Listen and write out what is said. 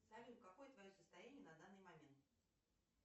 салют какое твое состояние на данный момент